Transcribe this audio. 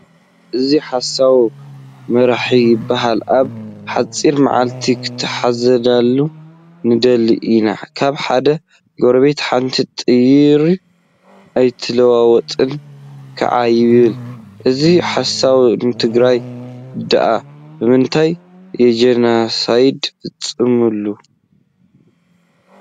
እዚ ሓሳዊ መራሒ ይባሃል ኣብ ሓፂር መዓልቲ ክተሓዘልና ንደሊ ኢና። ካብ ሓደ ጎረቤት ሓንቲ ጥይር ኣይተለዋወጥናን ከዓ ይብል። እዚ ሓሳዊ ንትግራይ ደኣ ብምንታይ እዩጀኖሳይድ ፈፂምሉ?